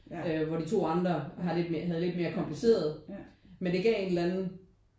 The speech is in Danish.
Hvor de 2 andre har lidt mere havde lidt mere komplicerede men det gav en eller anden